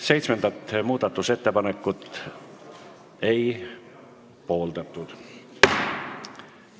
Seitsmendat muudatusettepanekut ei pooldatud.